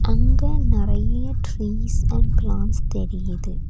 அங்க நறைய trees and plants தெரியுது.